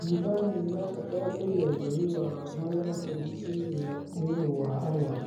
Thibitari nĩirabatara kũiga ũtheru wa marĩa matũrigicĩirie nĩũndũ wa arwaru